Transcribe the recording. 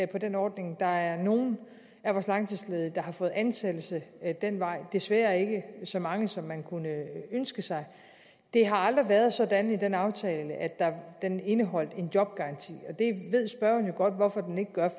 den ordning der er nogle af vores langtidsledige der har fået ansættelse ad den vej det er desværre ikke så mange som man kunne ønske sig det har aldrig været sådan i den aftale at den indeholdt en jobgaranti og det ved spørgeren jo godt hvorfor den ikke gør